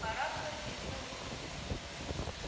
пора было сесть за уроки